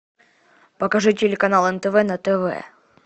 покажи телеканал нтв на тв